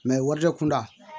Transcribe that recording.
wɔri kunda